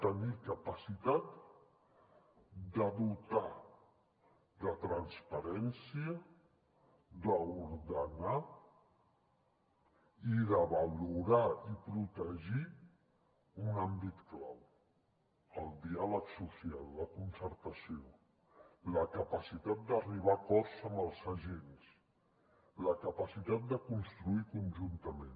tenir capacitat de dotar de transparència d’ordenar i de valorar i protegir un àmbit clau el diàleg social la concertació la capacitat d’arribar a acords amb els agents la capacitat de construir conjuntament